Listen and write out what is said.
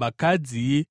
Vakadzi